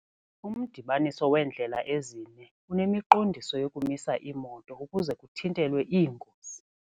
Umdibaniso weendlela ezine unemiqondiso yokumisa iimoto ukuze kuthintelwe iingozi.